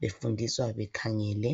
befundiswa bekhangele.